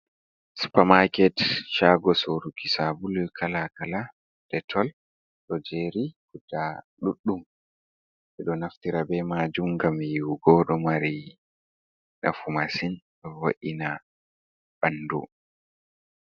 Supamaket, chago soruki sabulu kalakala, Ɗetol, ɗo jery guɗa ɗuddum, ɓedo naftira ɓe majum gam yiwugo. Ɗomari nafu masin ɗovo’ina ɓandu.